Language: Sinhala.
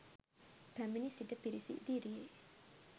පැමිණ සිටි පිරිස ඉදිරියේ